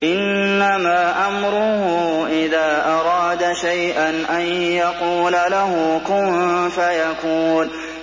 إِنَّمَا أَمْرُهُ إِذَا أَرَادَ شَيْئًا أَن يَقُولَ لَهُ كُن فَيَكُونُ